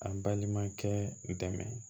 A balimakɛ dɛmɛ